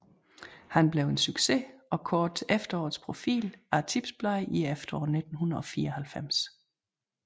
Han blev en succes og kåret til efterårets profil af Tipsbladet i efteråret 1994